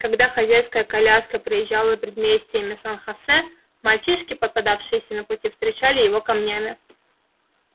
когда хозяйская коляска проезжала предместьями сан хосе мальчишки попадавшиеся на пути встречали его камнями